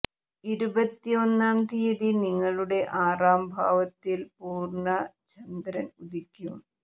ഇരുപത്തി ഒന്നാം തീയതി നിങ്ങളുടെ ആറാം ഭാവത്തിൽ പൂര്ണക ചന്ദ്രൻ ഉദിക്കും